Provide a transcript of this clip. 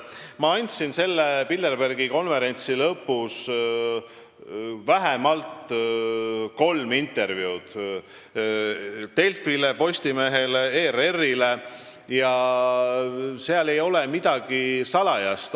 Ma andsin selle Bilderbergi konverentsi lõpus vähemalt kolm intervjuud – Delfile, Postimehele ja ERR-ile – ja seal ei ole midagi salajast.